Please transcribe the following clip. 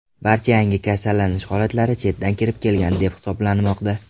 Barcha yangi kasallanish holatlari chetdan kirib kelgan deb hisoblanmoqda .